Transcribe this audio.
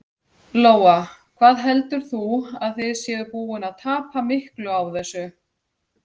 Lóa: Hvað heldur þú að þið séuð að búin að tapa miklu á þessu?